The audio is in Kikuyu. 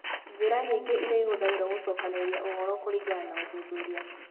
Njĩra nyingĩ iria ihũthagĩrũo gũcokanĩrĩria ũhoro kũringana na ũthuthuria.